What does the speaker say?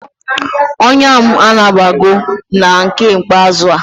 Onya m anabago na nke ikpeazu a